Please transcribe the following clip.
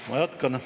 Ma jätkan.